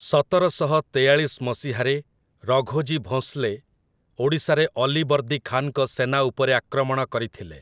ସତରଶହ ତେୟାଳିଶ ମସିହାରେ ରଘୋଜୀ ଭୋଂସଲେ ଓଡ଼ିଶାରେ ଅଲିବର୍ଦୀ ଖାନ୍‌ଙ୍କ ସେନା ଉପରେ ଆକ୍ରମଣ କରିଥିଲେ ।